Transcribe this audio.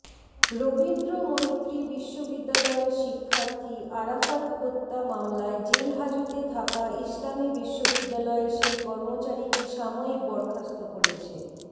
রবীন্দ্রমৈত্রী বিশ্ববিদ্যালয়ের শিক্ষার্থী আরাফাত হত্যা মামলায় জেলহাজতে থাকা ইসলামী বিশ্ববিদ্যালয়ের সেই কর্মচারীকে সাময়িক বরখাস্ত করেছে